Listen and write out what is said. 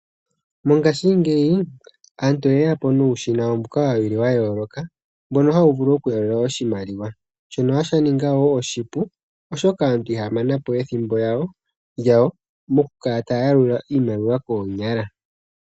Mongashingeyi aantu oye ya po nuushina mboka wu li wa yooloka, mbono hawu vulu okuyalula oshimaliwa. Shono sha ninga wo oshipu oshoka aantu ihaya mana po ethimbo lyawo mokukala taya yalula iimaliwa koonyala.